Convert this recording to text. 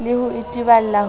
le ho itebala ho re